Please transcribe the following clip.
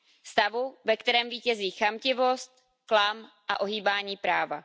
Stavu, ve kterém vítězí chamtivost, klam a ohýbání práva.